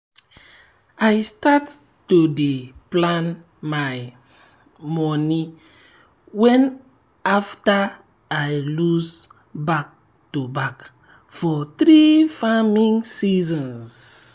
i start to dey plan my moni well after i loss back to back for three farming seasons.